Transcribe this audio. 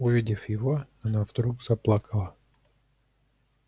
увидев его она вдруг заплакала